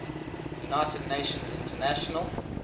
united nations international